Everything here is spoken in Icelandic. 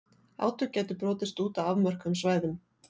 Átök gætu brotist út á afmörkuðum svæðum.